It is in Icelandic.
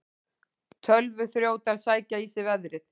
Tölvuþrjótar sækja í sig veðrið